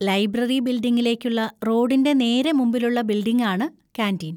Library ബിൽഡിങ്ങിലേക്കുള്ള റോഡിൻ്റെ നേരെ മുമ്പിലുള്ള ബിൽഡിങ്ങാണ് കാന്‍റീൻ.